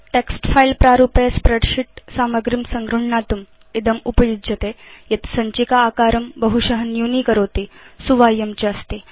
text file प्रारूपे spreadsheet सामग्रीं संगृह्णातुम् इदम् उपयुज्यते यत् सञ्चिका आकारं बहुश न्यूनीकरोति सुवाह्यं च अस्ति